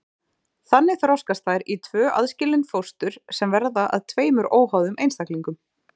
þannig þroskast þær í tvö aðskilin fóstur sem verða að tveimur óháðum einstaklingum